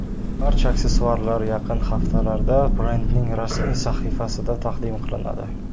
Barcha aksessuarlar yaqin haftalarda brendning rasmiy sahifasida taqdim qilinadi.